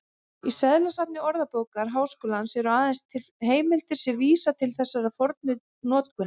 Í seðlasafni Orðabókar Háskólans eru aðeins til heimildir sem vísa til þessarar fornu notkunar.